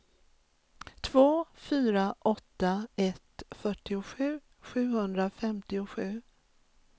två fyra åtta ett fyrtiosju sjuhundrafemtiosju